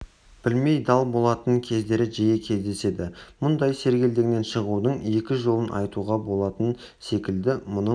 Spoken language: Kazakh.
білмей дал болатын кездері жиі кездеседі мұндай сергелдеңнен шығудың екі жолын айтуға болатын секілді мұның